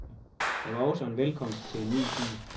Det var også en velkomst til en ny tid.